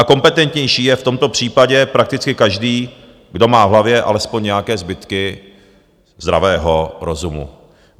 A kompetentnější je v tomto případě prakticky každý, kdo má v hlavě alespoň nějaké zbytky zdravého rozumu.